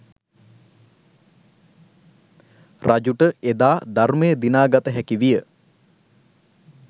රජුට එදා ධර්මය දිනාගත හැකි විය.